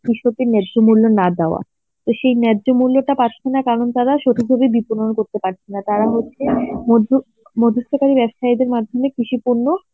কৃষকদের ন্যায্য মূল্য না দেওয়া. তা সেই ন্যায্য মূল্যটা পাচ্ছে না কারণ তারা করতে পারছে না, তারা হচ্ছে মধ্য~ মধ্যস্থতা ব্যবসায়ীদের মাধ্যমে কৃষি পণ্য